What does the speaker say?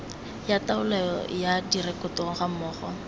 ya taolo ya direkoto gammogo